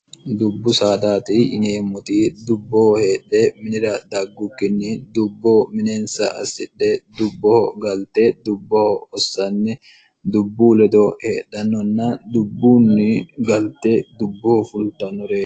dubbu saadaati yineemmoti dubboho heedhe minira daggukkinni dubboo mineensa assidhe dubboho galte dubboho hossanni dubbu ledo heedhannonna dubbuunni galte dubboho fultannore